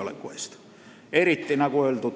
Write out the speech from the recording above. Eriti puudutab see, nagu öeldud,